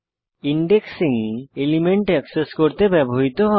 indexing element access করতে ব্যবহৃত হয়